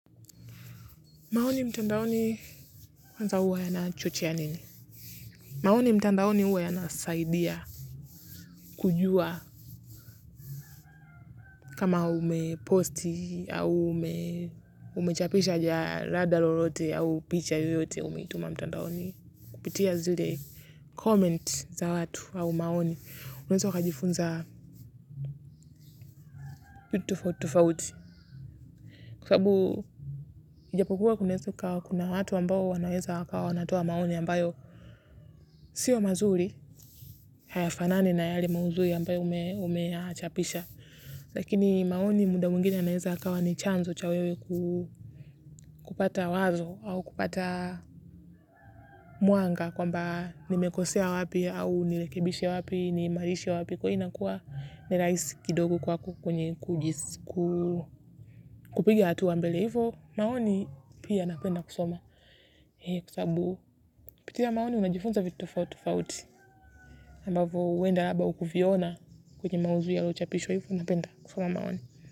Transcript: Maoni mtandaoni kwanza huwa yanachochea nini? Maoni mtandaoni huwa yanasaidia kujua kama umeposti au umechapisha jalada lolote au picha yoyote umetuma mtandaoni kupitia zile comment za watu au maoni. Unaeza ukajifunza vitu tofauti tofauti. Kwa sababu ijapokuwa kunaeza kukawa kuna watu ambao wanaweza wakawa wanatoa maoni ambayo. Sio mazuri, hayafanani na yale maudhui ambayo umeyachapisha. Lakini maoni muda mwingine yanaweza yakawa ni chanzo cha wewe kupata wazo au kupata mwanga kwamba nimekosea wapi au nirekebishe wapi, niimarishe wapi. Kwa hiyo inakuwa ni rahisi kidogo kwako kupiga hatua mbele. Hivyo maoni pia napenda kusoma kwa sababu kupitia maoni unajifunza vitu tofauti tofauti ambavyo huenda labda hukuviona kwenye maudhui yalochapishwa hivyo napenda kusoma maoni.